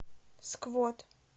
сквот